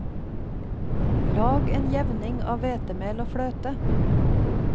Lag en jevning av hvetemel og fløte.